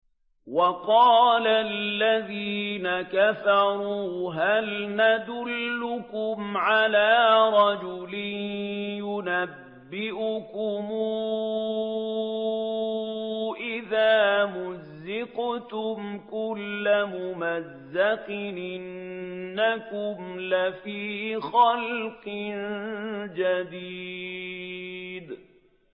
وَقَالَ الَّذِينَ كَفَرُوا هَلْ نَدُلُّكُمْ عَلَىٰ رَجُلٍ يُنَبِّئُكُمْ إِذَا مُزِّقْتُمْ كُلَّ مُمَزَّقٍ إِنَّكُمْ لَفِي خَلْقٍ جَدِيدٍ